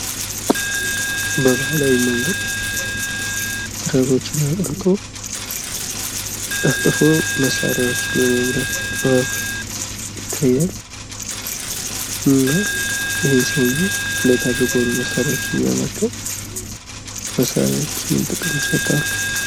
በባህላዊ ምንገድ ብረቶችን አቅልጦ ጠፍጥፎ መሳሪያዎችን የማምረት ጥበብ ይታያል እና ይህ ሰዉየ የሚያመርተው መሳሪያ ምን ጥቅም ይሰጣሉ?